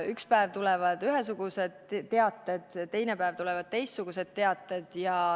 Üks päev tulevad ühesugused teated, teine päev tulevad teistsugused teated.